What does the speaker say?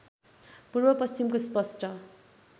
पूर्व पश्चिमको स्पस्ट